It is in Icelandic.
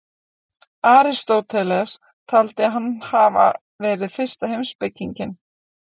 Aristóteles taldi hann hafa verið fyrsta heimspekinginn.